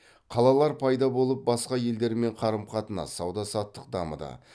қалалар пайда болып басқа елдермен қарым қатынас сауда саттық дамыды